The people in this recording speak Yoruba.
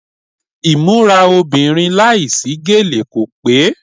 Ìmúra obìnrin láìsí gèlè kò pé.